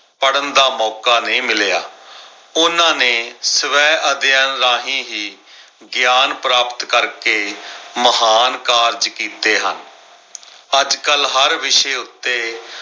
ਪੜਨ ਦਾ ਮੌਕਾ ਨਈ ਮਿਲਿਆ। ਉਹਨਾਂ ਨੇ ਸਵੈ ਅਧਿਐਨ ਰਾਹੀਂ ਹੀ ਗਿਆਨ ਪ੍ਰਾਪਤ ਕਰਕੇ ਮਹਾਨ ਕਾਰਜ ਕੀਤੇ ਹਨ। ਅੱਜ ਕੱਲ ਹਰ ਵਿਸ਼ੇ ਉੱਤੇ